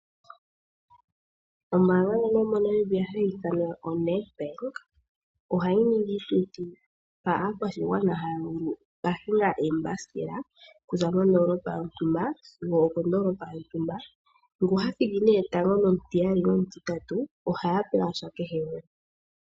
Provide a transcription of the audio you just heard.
Ombaanga ndjono yomo Namibia hayi ithanwa oNed Bank ohayi ningi iituthi mpa aakwashigwana haya kahinga eembasikela kuza mondoolopa yontumba sigo okondoolopa yontumba, ngu ha thiki nee tango nomutiyali nomutitatu ohaya pewasha kehe gumwe